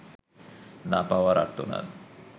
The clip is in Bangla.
না পাওয়ার আর্তনাদ